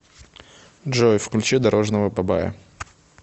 джой включи дорожного бабая